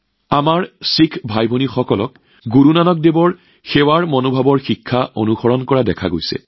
আমাৰ শিখ ভাইভনীসকলে সমগ্ৰ বিশ্বতে গুৰু নানক দেৱজীৰ সেৱাৰ মনোভাৱ আৰু সেৱাৰ কাৰ্য্যৰ শিক্ষা অনুসৰণ কৰা দেখা যায়